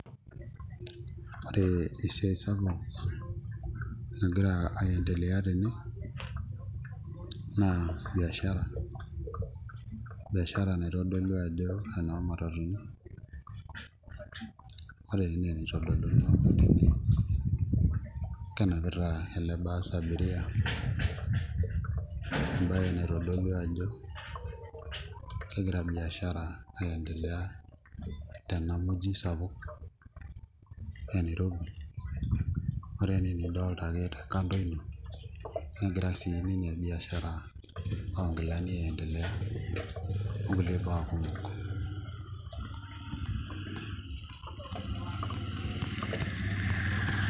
Ore esiai sapuk nagira aiendelea tene naa biashara, biashaa naitodolu ajo enoomatatuni, ore enaa enaitodoluno tene kenapita ele bus abiria embaye naitodolu ajo kegira biashara aiendelea tena muji sapuk e Nirobi ore enaa enidolta ake tekando ino negira biashara oonkiulani aiendelea onkulie baa kumok.